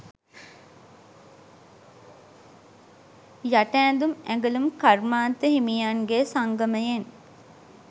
යට ඇඳුම් ඇඟලුම් කර්මාන්ත හිමියන්ගෙ සංගමයෙන්.